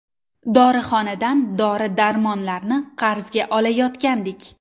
Dorixonadan dori-darmonlarni qarzga olayotgandik.